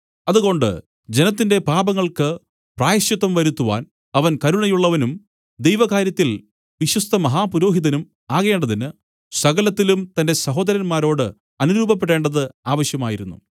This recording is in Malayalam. അതുകൊണ്ട് ജനത്തിന്റെ പാപങ്ങൾക്ക് പ്രായശ്ചിത്തം വരുത്തുവാൻ അവൻ കരുണയുള്ളവനും ദൈവകാര്യത്തിൽ വിശ്വസ്തമഹാപുരോഹിതനും ആകേണ്ടതിന് സകലത്തിലും തന്റെ സഹോദരന്മാരോട് അനുരൂപപ്പെടേണ്ടത് ആവശ്യമായിരുന്നു